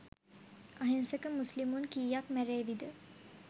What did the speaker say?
අහිංසක මුස්ලිමුන් කීයක් මැරේවිද?